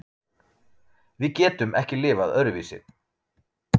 Við getum ekki lifað öðruvísi.